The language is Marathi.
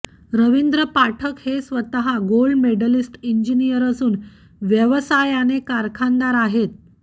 रवींद्र पाठक हे स्वतः गोल्ड मेडलिस्ट इंजिनियर असून व्यवसायाने कारखानदार आहेत